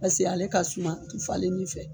Pase ale ka suman, a te falennin fɛ.